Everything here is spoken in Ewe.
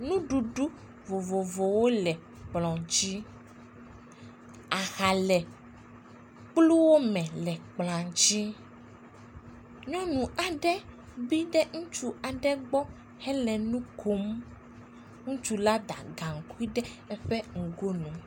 nuɖuɖu vovovowo le kplɔ̃a dzí aha le kplua me nyɔnu aɖe kpi ɖe ŋutsu aɖe gbɔ hele nukom